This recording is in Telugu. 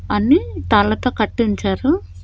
అన్ని తాళ్లతో కట్టి ఉంచారు.